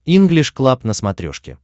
инглиш клаб на смотрешке